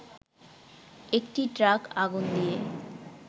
একটি ট্রাক আগুন দিয়ে